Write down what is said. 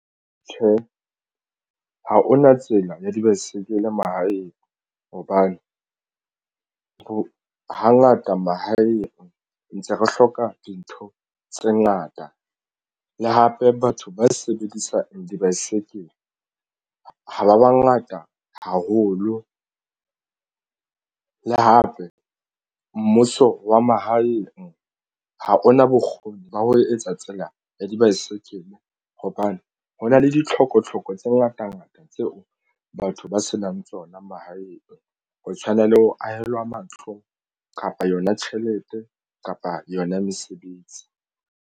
Tjhe, ha hona tsela ya dibaesekele mahaeng hobane hangata mahaeng ntse re hloka dintho tse ngata le hape batho ba sebedisang dibaesekele ha ba bangata haholo le hape mmuso wa mahaeng ha hona bokgoni ba ho etsa tsela ya dibaesekele hobane ho na le ditlhoko tlhoko tse ngata ngata tseo batho ba se nang tsona mahaeng ho tshwana le ho ahelwa matlo kapa yona tjhelete kapa yona mesebetsi.